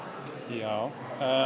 já